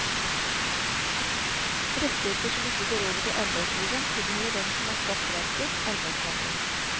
Rettigheter som ikke går over til arbeidsgiveren, tilhører den som har skap verket, arbeidstakeren.